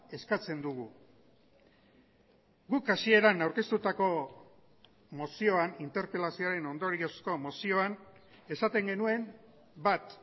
eskatzen dugu guk hasieran aurkeztutako mozioan interpelazioaren ondoriozko mozioan esaten genuen bat